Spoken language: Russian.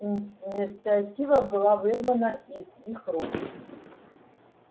инициатива была вырвана из их рук